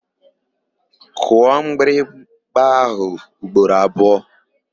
Kụọ mgbịrịgba áhụ̀ ugboro abụọ!